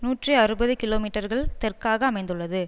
நூற்றி அறுபது கிலோமீட்டர்கள் தெற்காக அமைந்துள்ளது